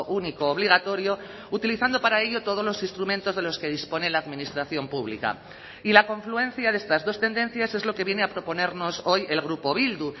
único obligatorio utilizando para ello todos los instrumentos de los que dispone la administración pública y la confluencia de estas dos tendencias es lo que viene a proponernos hoy el grupo bildu